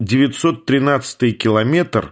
девятьсот тринадцатый километр